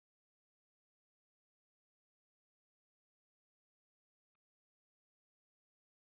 Magnús Hlynur: En þú ert að styrkja sjúkrahúsið?